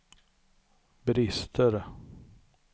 brister